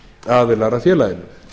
aðilar að félaginu